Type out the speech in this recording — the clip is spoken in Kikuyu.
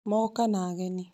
Moka na agenĩ